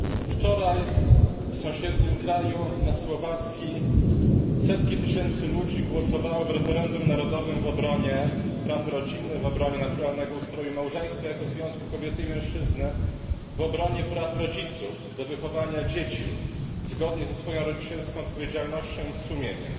Wczoraj w sąsiednim kraju, na Słowacji, setki tysięcy ludzi głosowało w referendum narodowym w obronie praw rodziny, w obronie naturalnego ustroju małżeństwa jako związku kobiety i mężczyzny, w obronie praw rodziców do wychowania dzieci zgodnie ze swoją rodzicielską odpowiedzialnością i z sumieniem.